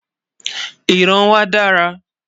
ìran wà dára